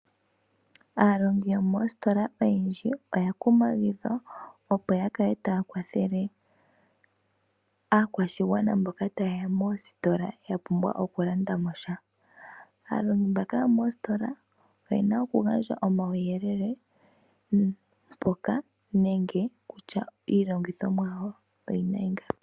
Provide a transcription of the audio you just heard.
Aalongi yomostola oyendji oya kumagidhwa opo yakale taya kwathele aakwashigwana mboka tayeya moostola yapumbwa okulanda mo sha . Aalongi mbaka yomoostola oyena okugandja omauyelele mpoka nenge kutya iilongithomwa yawo oyina ingapi.